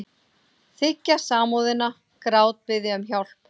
Þiggja samúðina, grátbiðja um hjálp.